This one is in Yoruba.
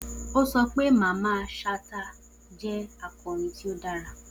O sọ pe Mamman Shata jẹ akọrin ti o dara